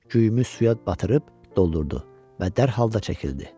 Güyümü suya batırıb doldurdu və dərhal da çəkildi.